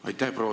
Aitäh!